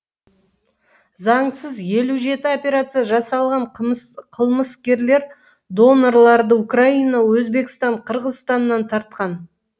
заңсыз елу жеті операция жасалған қылмыскерлер донорларды украина өзбекстан қырғызстаннан тартқан